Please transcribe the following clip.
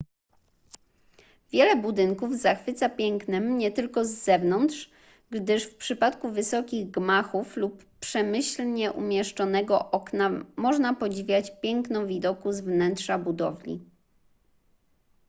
wiele budynków zachwyca pięknem nie tylko z zewnątrz gdyż w przypadku wysokich gmachów lub przemyślnie umieszczonego okna można podziwiać piękno widoku z wnętrza budowli